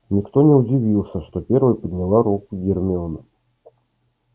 никто не удивился что первой подняла руку гермиона